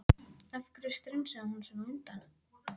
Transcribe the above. Af hverju strunsaði hún svona á undan?